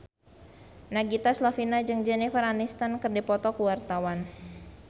Nagita Slavina jeung Jennifer Aniston keur dipoto ku wartawan